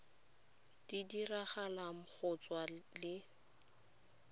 di diragalang go tswa le